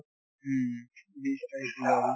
উম beast আহিছিলে